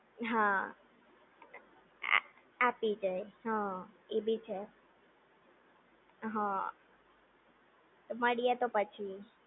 હા આ આપી જાય હા એ બી છે હા મળિએ તો પછી